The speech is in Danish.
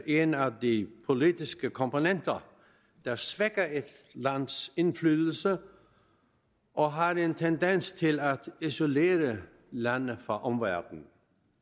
en af de politiske komponenter der svækker et lands indflydelse og har en tendens til at isolere landet fra omverdenen